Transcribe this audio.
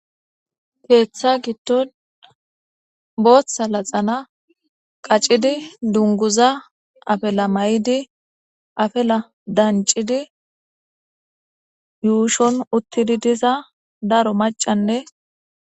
Keeththa gidton booththa laxana qacidi dunguza afela may7di afela dancidi yuushon uttidi diza daro macanne.